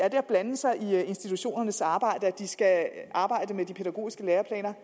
at blande sig i institutionernes arbejde at de skal arbejde med de pædagogiske læreplaner